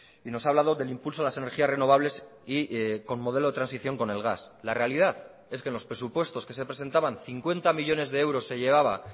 y nos ha hablado del impulso de las energías renovables y con modelo de transición con el gas la realidad es que en los presupuestos que se presentaban cincuenta millónes de euros se llevaba